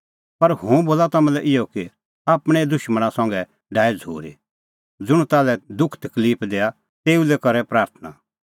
पर हुंह बोला तम्हां लै इहअ कि आपणैं दुशमणा संघै डाहै झ़ूरी ज़ुंण ताल्है दुख तकलिफ दैआ तेऊ लै करै प्राथणां